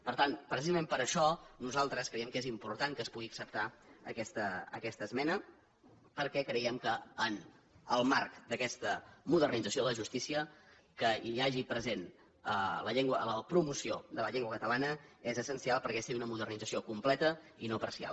per tant precisament per això nosaltres creiem que és important que es pugui acceptar aquesta esmena perquè creiem que en el marc d’aquesta modernització de la justícia que hi hagi present la promoció de la llengua catalana és essencial perquè sigui una modernització completa i no parcial